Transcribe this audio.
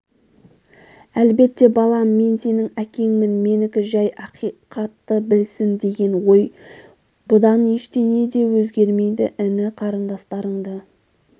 әлбетте балам мен сенің әкеңмін менікі жәй ақихатты білсін деген ғой бұдан ештеңе де өзгермейді іні-қарындастарыңды